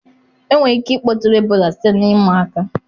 Enwere ike ịkpọtụrụ Ebola site na ịma aka.